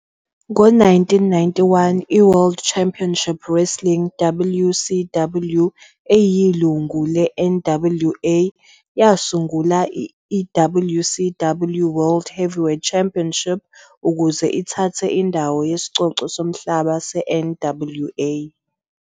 Ngo-1991, iWorld Championship Wrestling, WCW, eyilungu le-NWA, yasungula iWCW World Heavyweight Championship ukuze ithathe indawo yesicoco somhlaba se-NWA.